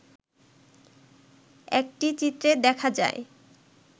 একটি চিত্রে দেখা যায়